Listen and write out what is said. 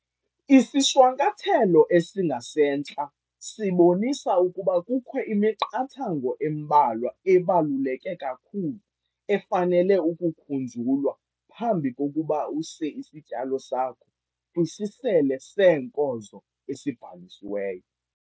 Isishwankathelo esingasentla sibonisa ukuba kukho imiqathango embalwa ebaluleke kakhulu efanele ukukhunjulwa phambi kokuba use isityalo sakho kwisisele seenkozo esibhalisiweyo.